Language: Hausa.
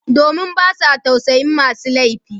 Domin ba sa tausayin masu laifi